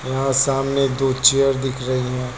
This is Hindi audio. यहां सामने दो चेयर दिख रही हैं।